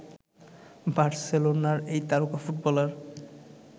বার্সেলোনার এই তারকা ফুটবলার